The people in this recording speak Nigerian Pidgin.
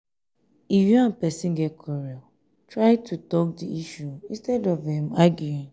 if you and person get quarrel try to talk di issue instead of um arguing